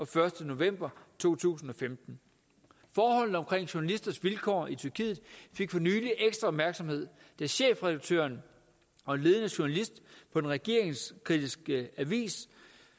første november to tusind og femten forholdene omkring journalisters vilkår i tyrkiet fik for nylig ekstra opmærksomhed da chefredaktøren og en ledende journalist på den regeringskritiske avis